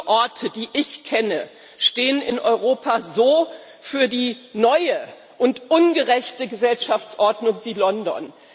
Wenige Orte, die ich kenne, stehen in Europa so für die neue und ungerechte Gesellschaftsordnung wie London.